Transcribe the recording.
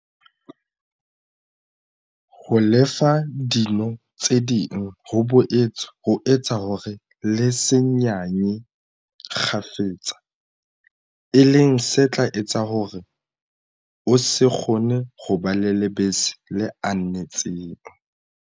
Ho lefa dino tse ding ho boetse ho etsa hore le se nyanye kgafetsa, e leng se tla etsa hore o se kgone ho ba le lebese le anetseng.